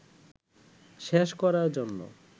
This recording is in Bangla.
শেষ করার জন্য